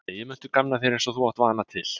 Eigi muntu gamna þér eins og þú átt vana til.